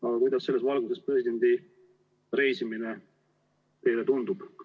Aga kuidas selles valguses presidendi reisimine teile tundub?